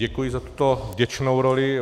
Děkuji za tuto vděčnou roli.